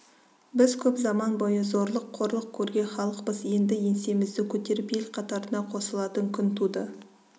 біз көп заман бойы зорлық қорлық көрген халықпыз енді еңсемізді көтеріп ел қатарына қосылатын күн туды